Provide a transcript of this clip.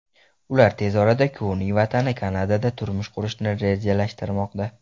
Ular tez orada kuyovning vatani Kanadada turmush qurishni rejalashtirmoqda.